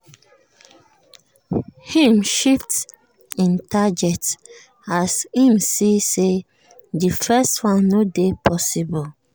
im shift him target as im see say di first one no dey possible.